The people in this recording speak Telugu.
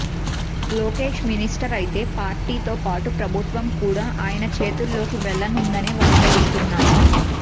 లోకేశ్ మినిస్టర్ అయితే పార్టీతో పాటు ప్రభుత్వం కూడా ఆయన చేతుల్లోకి వెళ్లనుందనే వార్తలొస్తున్నాయి